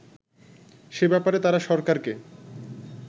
সে ব্যাপারে তারা সরকারকে